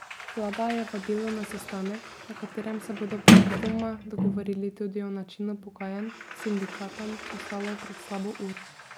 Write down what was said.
Vlada je vabilo na sestanek, na katerem se bodo predvidoma dogovorili tudi o načinu pogajanj, sindikatom poslala pred slabo uro.